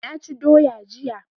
Naci doya jiya